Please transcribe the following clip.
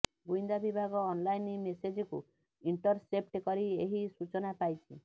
ଗୁଇନ୍ଦା ବିଭାଗ ଅନଲାଇନ୍ ମେସେଜକୁ ଇଣ୍ଟରସେପ୍ଟ କରି ଏହି ସୂଚନା ପାଇଛି